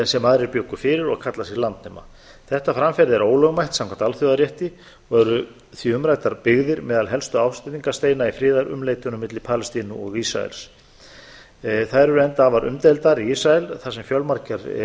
sem aðrir bjuggu fyrir og kalla sig landnema þetta framferði er ólögmætt samkvæmt alþjóðarétti og eru því umræddar byggðir meðal helstu ásteytingarsteina í friðarumleitunum milli palestínu og ísraels þær eru enda afar umdeildar í ísrael þar sem